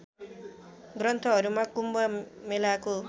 ग्रन्थहरूमा कुम्भ मेलाको